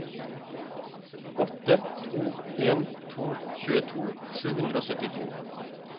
åtte to en to tjueto sju hundre og syttito